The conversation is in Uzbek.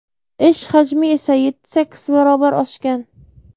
Ish hajmi esa yetti-sakkiz barobar oshgan.